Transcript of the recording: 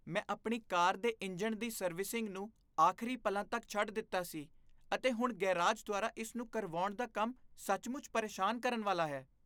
ਮੈਂ ਆਪਣੀ ਕਾਰ ਦੇ ਇੰਜਣ ਦੀ ਸਰਵਿਸਿੰਗ ਨੂੰ ਆਖਰੀ ਪਲਾਂ ਤੱਕ ਛੱਡ ਦਿੱਤਾ ਸੀ, ਅਤੇ ਹੁਣ ਗੈਰਾਜ ਦੁਆਰਾ ਇਸ ਨੂੰ ਕਰਵਾਉਣ ਦਾ ਕੰਮ ਸੱਚਮੁੱਚ ਪਰੇਸ਼ਾਨ ਕਰਨ ਵਾਲਾ ਹੈ।